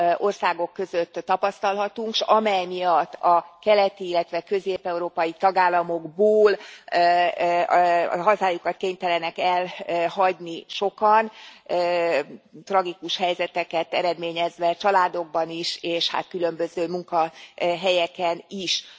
országok között tapasztalhatunk, s amely miatt a keleti, illetve a közép európai tagállamokból hazájukat kénytelenek elhagyni sokan, tragikus helyzeteket eredményezve családokban is és hát különböző munkahelyeken is.